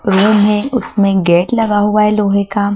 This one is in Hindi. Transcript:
रूम हैं उसमें गेट लगा हुआ है लोहे का।